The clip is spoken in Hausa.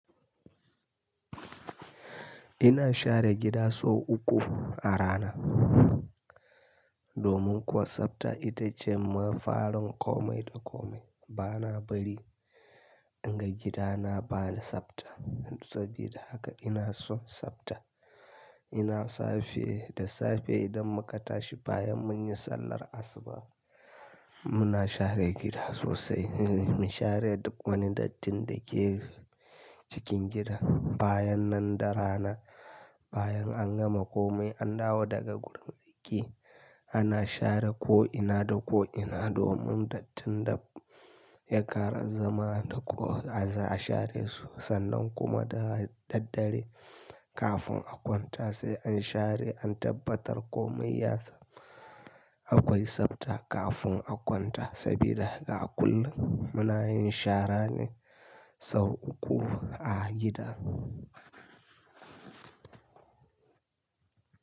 Ina share gida sau uku a rana. Domin kuwa sabta ita ce mafarin komai da komai. Bana bari inga gidana bani sabta. Sabida haka ina son sabta. Ina safe da safe idan muka tashi bayan mun yi sallar asuba, muna share gida sosai. Mu share duk wani dattin da ke cikin gida. Bayan nan da rana, bayan an gama komai an dawo daga gurin aiki, ana share ko'ina da ko'ina domin dattin da ya ƙara zama da ko a share sosai. Sannan kuma da daddare kafin a kwanta sai an share, an tabbatar komai ya samu akwai sabta kafin a kwanta. Sabida haka a kullum muna yin shara ne sau uku a gida.